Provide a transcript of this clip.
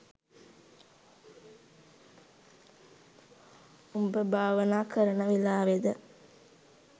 උඹ භාවනා කරන වෙලාවෙ ද